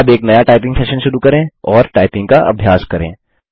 अब एक नया टाइपिंग सेशन शुरू करें और टाइपिंग का अभ्यास करें